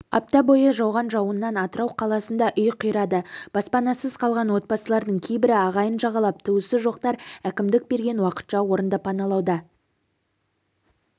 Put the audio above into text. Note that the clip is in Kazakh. апта бойы жауған жауыннан атырау қаласында үй қирады баспанасыз қалған отбасылардың кейбірі ағайын жағалап туысы жоқтар әкімдік берген уақытша орынды паналуада